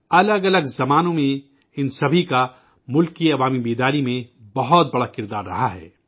الگ الگ ادوار میں ان سبھی کا ملک میں عوامی بیداری پھیلانے میں بہت بڑا کردار رہا ہے